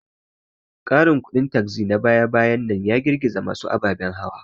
Ƙarin kudin taxi na baya-bayan nan ya girgiza masu ababen hawa.